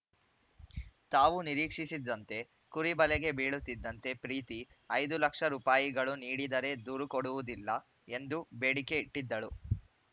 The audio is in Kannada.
ತಾವು ನಿರೀಕ್ಷಿಸಿದಂತೆ ಕುರಿ ಬಲೆಗೆ ಬೀಳುತ್ತಿದ್ದಂತೆ ಪ್ರೀತಿ ಐದು ಲಕ್ಷ ರೂಪಾಯಿಗಳು ನೀಡಿದರೆ ದೂರು ಕೊಡುವುದಿಲ್ಲ ಎಂದು ಬೇಡಿಕೆ ಇಟ್ಟಿದ್ದಳು